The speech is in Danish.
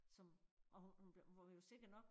Som og hun hun blev var jo sikker nok